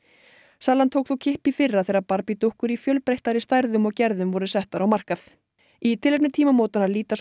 salan tók þó kipp í fyrra þegar dúkkur í fjölbreyttari stærðum og gerðum voru settar á markað í tilefni tímamótanna líta svo